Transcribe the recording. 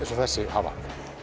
hafa